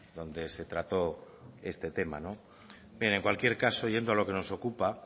donde se trató este tema bien en cualquier caso yendo a lo que nos ocupa